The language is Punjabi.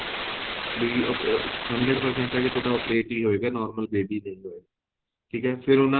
ਵੀ ਅਹ hundred percent ਏ ਵੀ ਤੁਹਾਡਾ operate ਹੀ ਹੋਏਗਾ normal baby ਨਹੀਂ ਹੋਏਗਾ ਠੀਕ ਏ ਫ਼ੇਰ ਉਹਨਾ